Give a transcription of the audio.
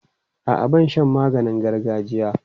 A'a, ban sha maganin gargajiya.